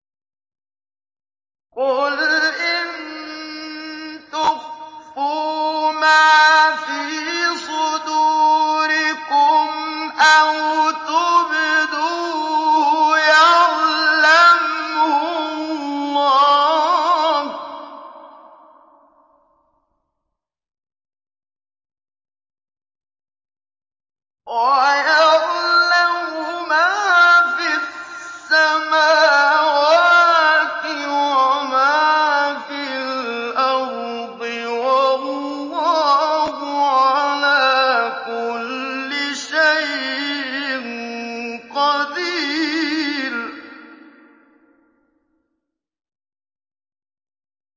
قُلْ إِن تُخْفُوا مَا فِي صُدُورِكُمْ أَوْ تُبْدُوهُ يَعْلَمْهُ اللَّهُ ۗ وَيَعْلَمُ مَا فِي السَّمَاوَاتِ وَمَا فِي الْأَرْضِ ۗ وَاللَّهُ عَلَىٰ كُلِّ شَيْءٍ قَدِيرٌ